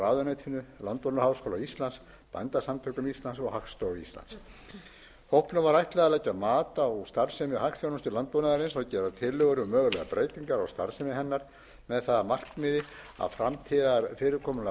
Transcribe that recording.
ráðuneytinu landbúnaðarháskóla íslands bændasamtökum íslands og hagstofu íslands hópnum var ætlað að leggja mat á starfsemi hagþjónustu landbúnaðarins og gera tillögur um mögulegar breytingar á starfsemi hennar með það að markmiði að framtíðarfyrirkomulag